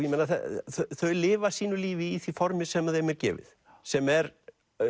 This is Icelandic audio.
þau lifa sínu lífi í því formi sem þeim er gefið sem er